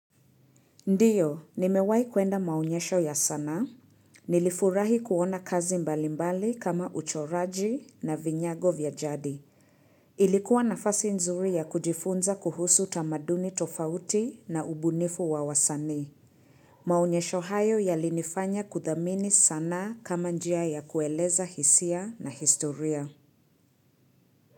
Ndiyo, nimewai kuenda maonyesho ya sanaa Nilifurahi kuona kazi mbalimbali kama uchoraji na vinyago vya jadi. Ilikuwa na fasi nzuri ya kujifunza kuhusu tamaduni tofauti na ubunifu wawasanii. Maonyesho hayo yalinifanya kuthamini sanaa kama njia ya kueleza hisia na historia.